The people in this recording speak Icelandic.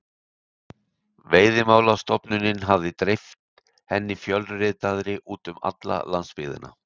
Veiðimálastofnunin hafði dreift henni fjölritaðri út um alla landsbyggðina.